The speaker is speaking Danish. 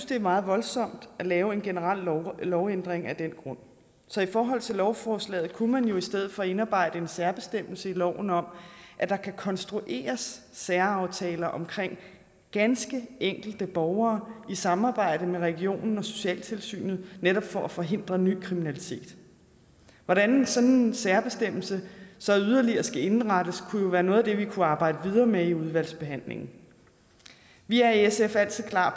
det er meget voldsomt at lave en generel lovændring af den grund så i forhold til lovforslaget kunne man jo i stedet for indarbejde en særbestemmelse i loven om at der kan konstrueres særaftaler omkring ganske enkelte borgere i samarbejde med regionen og socialtilsynet netop for at forhindre ny kriminalitet hvordan sådan en særbestemmelse så yderligere skal indrettes kunne jo være noget af det vi kunne arbejde videre med i udvalgsbehandlingen vi er i sf altid klar